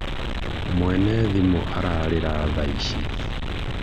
mwene thimũ ararĩra thaa ici